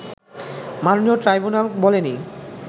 মাননীয় ট্রাইব্যুনাল বলেনি